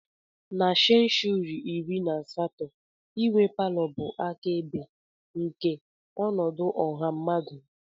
Na senshuri iri na asatọ, inwe palọ bụ akaebe nke ọnọdụ ọha mmadụ.